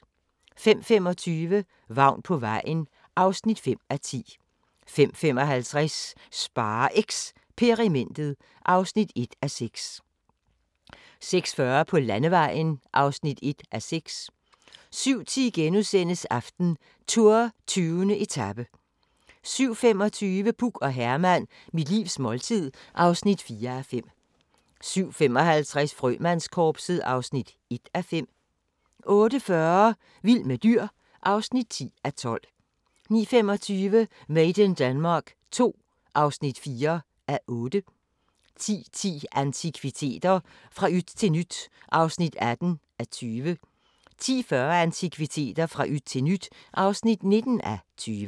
05:25: Vagn på vejen (5:10) 05:55: SpareXperimentet (1:6) 06:40: På landevejen (1:6) 07:10: AftenTour: 20. etape * 07:25: Puk og Herman – mit livs måltid (4:5) 07:55: Frømandskorpset (1:5) 08:40: Vild med dyr (10:12) 09:25: Made in Denmark II (4:8) 10:10: Antikviteter – fra yt til nyt (18:20) 10:40: Antikviteter – fra yt til nyt (19:20)